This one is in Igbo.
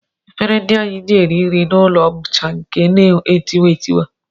Efere ndị anyị ji eri nri n'ụlọ bụcha nke na-etiwa etiwa